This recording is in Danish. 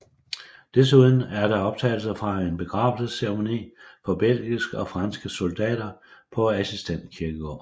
Desuden er der optagelser fra en begravelsesceremoni for belgiske og franske soldater på Assistens Kirkegård